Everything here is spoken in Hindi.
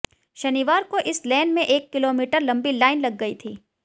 शनिवार को इस लेन में एक किलोमीटर लंबी लाइन लग गई थी